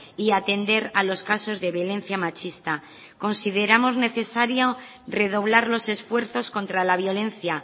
y atender a los casos de violencia machista consideramos necesario redoblar los esfuerzos contra la violencia